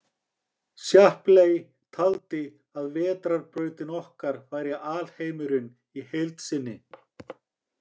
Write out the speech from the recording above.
Shapley taldi að Vetrarbrautin okkar væri alheimurinn í heild sinni.